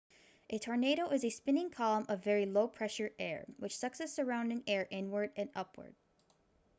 a tornado is a spinning column of very low-pressure air which sucks the surrounding air inward and upward